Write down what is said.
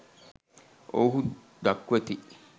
ඔවුහු දක්වති